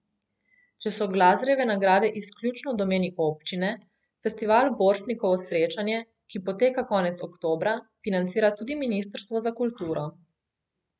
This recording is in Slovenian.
Če so Glazerjeve nagrade izključno v domeni občine, Festival Borštnikovo srečanje, ki poteka konec oktobra, financira tudi ministrstvo za kulturo.